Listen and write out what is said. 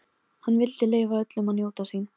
Sophanías, hvað er á áætluninni minni í dag?